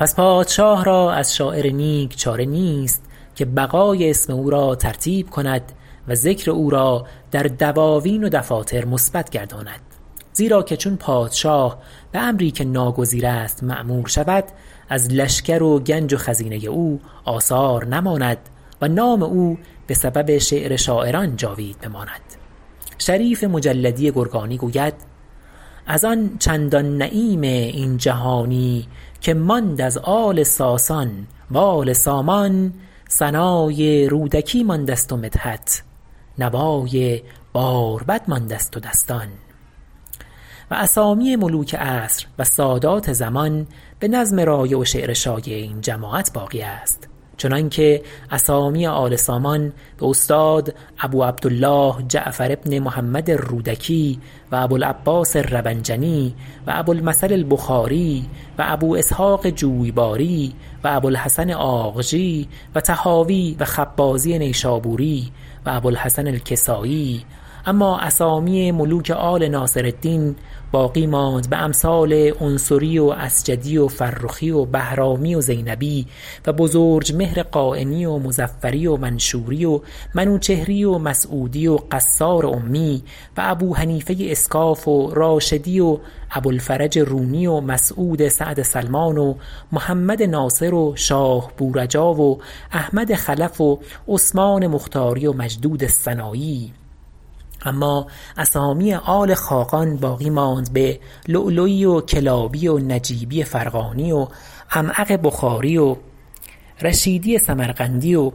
پس پادشاه را از شاعر نیک چاره نیست که بقاء اسم او را ترتیب کند و ذکر او را در دواوین و دفاتر مثبت گرداند زیرا که چون پادشاه به امری که ناگزیر است مأمور شود از لشکر و گنج و خزینه او آثار نماند و نام او به سبب شعر شاعران جاوید بماند شریف مجلدی گرگانی گوید از آن چندان نعیم این جهانی که ماند از آل ساسان و آل سامان ثنای رودکی مانده ست و مدحت نوای باربد مانده ست و دستان و اسامی ملوک عصر و سادات زمان به نظم رایع و شعر شایع این جماعت باقی است چنان که اسامی آل سامان به استاد ابو عبدالله جعفر بن محمد الرودکی و ابوالعباس الربنجنی و ابوالمثل البخاری و ابو اسحق جویباری و ابوالحسن آغجی و طحاوی و خبازی نیشابوری و ابو الحسن الکسایی اما اسامی ملوک آل ناصرالدین باقی ماند به امثال عنصری و عسجدی و فرخی و بهرامی و زینبی و بزرجمهر قاینی و مظفری و منشوری و منوچهری و مسعودی و قصار امی و ابوحنیفه اسکاف و راشدی و ابوالفرج رونی و مسعود سعد سلمان و محمد ناصر و شاه بورجا و احمد خلف و عثمان مختاری و مجدود السنایی اما اسامی آل خاقان باقی ماند به لؤلؤی و کلابی و نجیبی فرغانی و عمعق بخاری و رشیدی سمرقندی و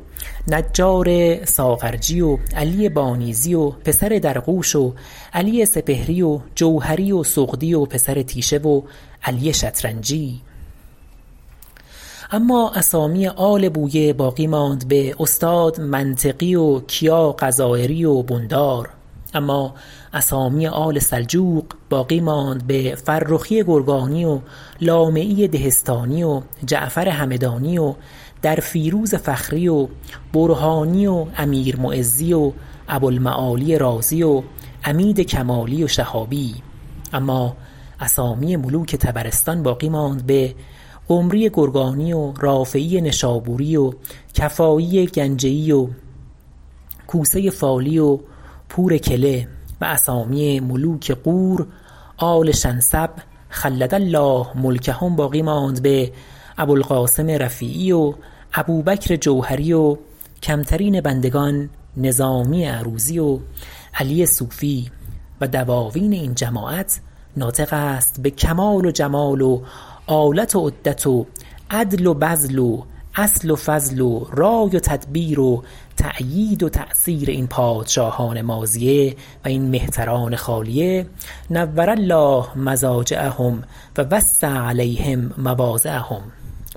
نجار ساغرجی و علی بانیذی و پسر درغوش و علی سپهری و جوهری و سغدی و پسر تیشه و علی شطرنجی اما اسامی آل بویه باقی ماند به استاد منطقی و کیا غضایری و بندار اما اسامی آل سلجوق باقی ماند به فرخی گرگانی و لامعی دهستانی و جعفر همدانی و درفیروز فخری و برهانی و امیر معزی و ابو المعالی رازی و عمید کمالی و شهابی اما اسامی ملوک طبرستان باقی ماند به قمری گرگانی و رافعی نشابوری و کفایی گنجه ای و کوسه فالی و پور کله و اسامی ملوک غور آل شنسب خلد الله ملکهم باقی ماند به ابوالقاسم رفیعی و ابوبکر جوهری و کمترین بندگان نظامی عروضی و علی صوفی و دواوین این جماعت ناطق است به کمال و جمال و آلت و عدت و عدل و بذل و اصل و فضل و رای و تدبیر و تأیید و تأثیر این پادشاهان ماضیه و این مهتران خالیه نور الله مضاجعهم و وسع علیهم مواضعهم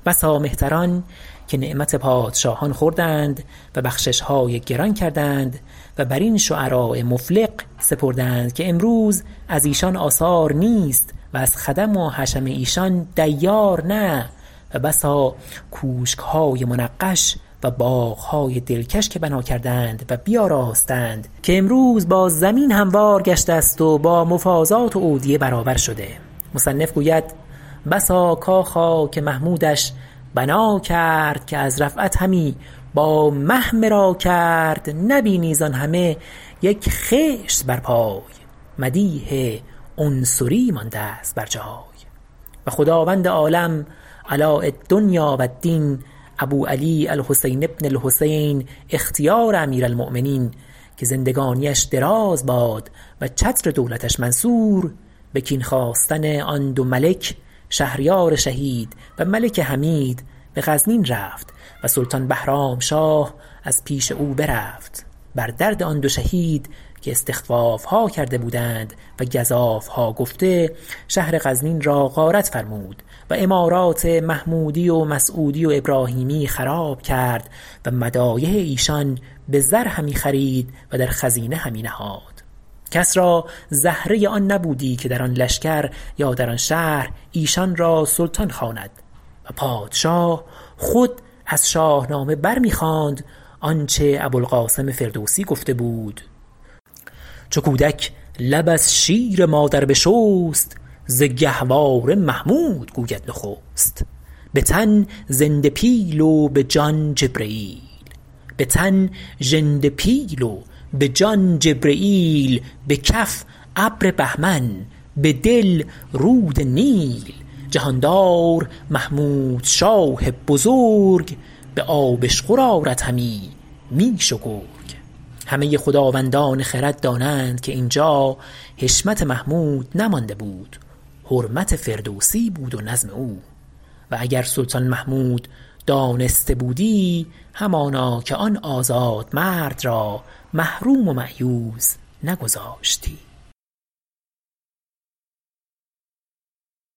بسا مهتران که نعمت پادشاهان خوردند و بخششهای گران کردند و بر این شعراء مفلق سپردند که امروز از ایشان آثار نیست و از خدم و حشم ایشان دیار نه و بسا کوشکهای منقش و باغهای دلکش که بنا کردند و بیاراستند که امروز با زمین هموار گشته است و با مفازات و اودیه برابر شده مصنف گوید بسا کاخا که محمودش بنا کرد که از رفعت همی با مه مرا کرد نبینی زآن همه یک خشت بر پای مدیح عنصری مانده ست بر جای و خداوند عالم علاء الدنیا و الدین ابو علی الحسین بن الحسین اختیار امیر المؤمنین که زندگانیش دراز باد و چتر دولتش منصور به کین خواستن آن دو ملک شهریار شهید و ملک حمید به غزنین رفت و سلطان بهرامشاه از پیش او برفت بر درد آن دو شهید که استخفافها کرده بودند و گزافها گفته شهر غزنین را غارت فرمود و عمارات محمودی و مسعودی و ابراهیمی خراب کرد و مدایح ایشان به زر همی خرید و در خزینه همی نهاد کس را زهره آن نبودی که در آن لشکر یا در آن شهر ایشان را سلطان خواند و پادشاه خود از شاهنامه بر می خواند آنچه ابوالقاسم فردوسی گفته بود چو کودک لب از شیر مادر بشست ز گهواره محمود گوید نخست به تن زنده پیل و به جان جبرییل به کف ابر بهمن به دل رود نیل جهاندار محمود شاه بزرگ به آبشخور آرد همی میش و گرگ همه خداوندان خرد دانند که اینجا حشمت محمود نمانده بود حرمت فردوسی بود و نظم او و اگر سلطان محمود دانسته بودی همانا که آن آزاد مرد را محروم و مأیوس نگذاشتی